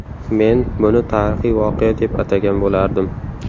Men buni tarixiy voqea deb atagan bo‘lardim.